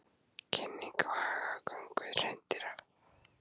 Kynning á hagagöngu hreindýra